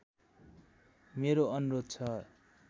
मेरो अनुरोध छ